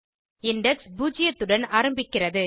index பூஜ்ஜியத்துடன் ஆரம்பிக்கிறது